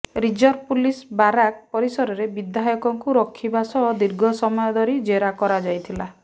reserve police barrack ପରିସରରେ ବିଧାୟକଙ୍କୁ ରଖିବା ସହ ଦୀର୍ଘ ସମୟ ଧରି ଜେରା କରା ଯାଇଥିଲା